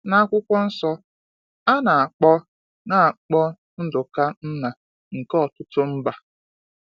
N’akwụkwọ nsọ, a na-akpọ na-akpọ Nduka nna nke ọtụtụ mba.